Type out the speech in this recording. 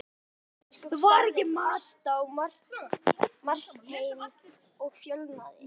Hólabiskup starði fast á Martein og fölnaði.